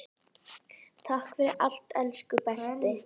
Takk fyrir allt elsku besti.